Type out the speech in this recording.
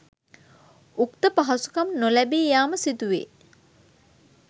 උක්ත පහසුකම් නොලැබී යාම සිදුවේ.